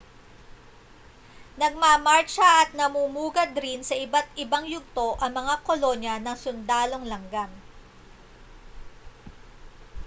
nagmamartsa at namumugad rin sa iba't-ibang yugto ang mga kolonya ng sundalong langgam